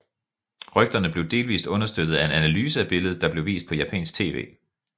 Rygterne blev delvis understøttet af en analyse af billedet der blev vist på japansk TV